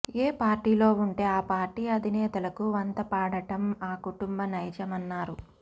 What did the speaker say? ఏ పార్టీలో ఉంటే ఆ పార్టీ అధినేతలకు వంతపాడటం ఆ కుటుంబ నైజమన్నారు